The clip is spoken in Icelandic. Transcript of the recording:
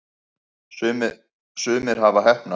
sumir hafa heppnast